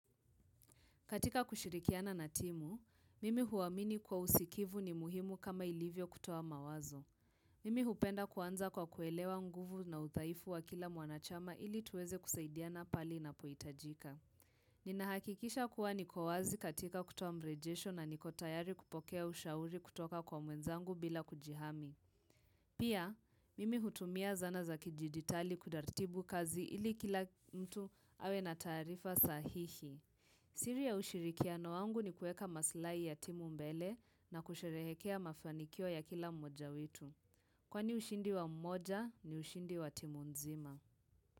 Katika kushirikiana na timu, mimi huwaamini kwa usikivu ni muhimu kama ilivyo kutuo mawazo. Mimi hupenda kuanza kwa kuelewa nguvu na udhaifu wa kila mwanachama ili tuweze kusaidiana pahali na panapohitajika. Ninahakikisha kuwa nikowazi katika kutoa mrejesho na niko tayari kupokea ushauri kutoka kwa mwenzangu bila kujihami. Pia, mimi hutumia zana za kijiditali kuratibu kazi ili kila mtu awe na tarifa sahihi. Siri ya ushirikiano wangu ni kuweka maslahi ya timu mbele na kusherehekea mafanikio ya kila mmoja wetu. Kwani ushindi wa mmoja ni ushindi wa timu nzima.